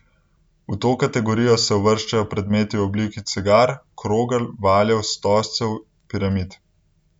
V to kategorijo se uvrščajo predmeti v obliki cigar, krogel, valjev, stožcev, piramid.